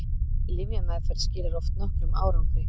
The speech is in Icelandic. lyfjameðferð skilar oft nokkrum árangri